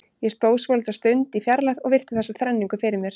Ég stóð svolitla stund í fjarlægð og virti þessa þrenningu fyrir mér.